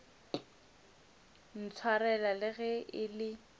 ntshwarela le ge e le